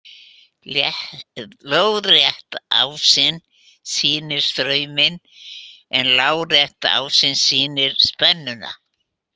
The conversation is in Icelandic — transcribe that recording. Lóðrétti ásinn sýnir strauminn en lárétti ásinn sýnir spennuna.